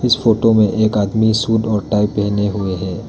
इस फोटो में एक आदमी सूट और टाइ पहने हुए है।